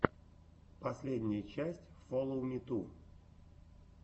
последняя часть фоловмиту